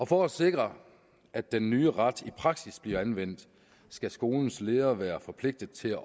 for at sikre at den nye ret i praksis bliver anvendt skal skolens leder være forpligtet til